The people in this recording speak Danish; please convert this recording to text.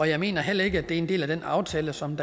jeg mener heller ikke at det er en del af den aftale som